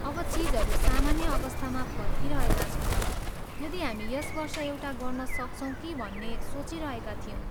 अब चिजहरू सामान्य अवस्थामा फर्किरहेका छन्, यदि हामी यस वर्ष एउटा गर्न सक्छौँ कि भन्ने सोचिरहेका थियौँ।